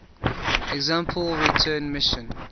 sample return missions